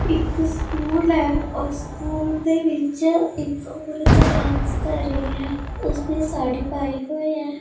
ਇੱਕ ਸਕੂਲ ਐ ਉਸ ਸਕੂਲ ਦੇ ਵਿੱਚ ਇੱਕ ਔਰਤ ਡਾਂਸ ਕਰ ਰਹੀ ਹੈ ਉਸਨੇ ਸਾੜੀ ਪਾਈ ਹੋਈ ਹੈ।